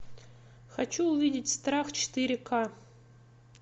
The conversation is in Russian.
хочу увидеть страх четыре ка